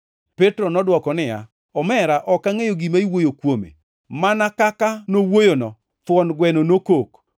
Petro nodwoko niya, “Omera, ok angʼeyo gima iwuoyo kuome!” Mana kaka nowuoyono, thuon gweno nokok.